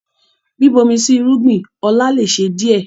Bíbomi sí irúgbìn ọlá lè ṣe díẹ̀